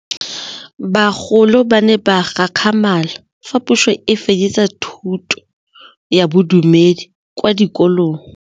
Bagolo ba ne ba gakgamala fa Pusô e fedisa thutô ya Bodumedi kwa dikolong.